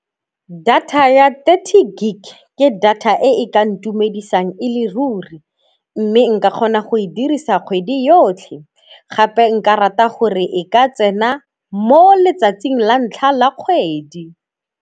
Data ya thirty gig ke data e e ka ntumedisang e le ruri mme nka kgona go e dirisa kgwedi yotlhe, gape nka rata gore e ka tsena mo letsatsing la ntlha la kgwedi.